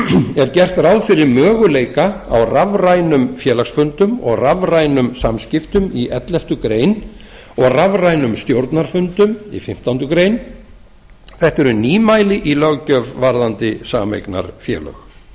er gert ráð fyrir möguleika á rafrænum félagsfundum og rafrænum samskiptum í elleftu greinar og rafrænum stjórnarfundum í fimmtándu greinar þetta eru nýmæli í löggjöf varðandi sameignarfélög